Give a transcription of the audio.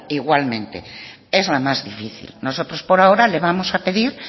igualmente es lo más difícil nosotros por ahora le vamos a pedir